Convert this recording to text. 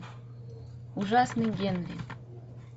ужасный генри